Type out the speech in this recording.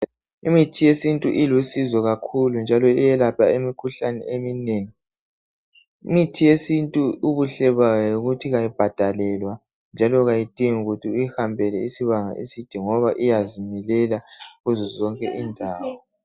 Imithi yesintu ilusizo kakhulu njalo iyelapha imikhuhlane eminengi. lmithi yesintu ubuhle bayo yikuthi ayibhadalelwa ayidingi ukuthi uyihambele isibanga eside ngoba iyazimilela kuzo zonke indawo